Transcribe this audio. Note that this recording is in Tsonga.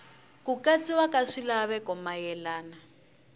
ku katsiwa ka swilaveko mayelana